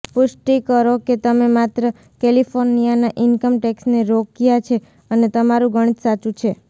પુષ્ટિ કરો કે તમે માત્ર કેલિફોર્નિયાના ઇન્કમ ટેક્સને રોક્યા છે અને તમારું ગણિત સાચું છે